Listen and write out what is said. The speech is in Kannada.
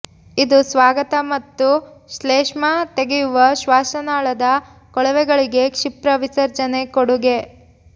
ಇದು ಸ್ವಾಗತ ಮತ್ತು ಶ್ಲೇಷ್ಮ ತೆಗೆಯುವ ಶ್ವಾಸನಾಳದ ಕೊಳವೆಗಳಿಗೆ ಕ್ಷಿಪ್ರ ವಿಸರ್ಜನೆ ಕೊಡುಗೆ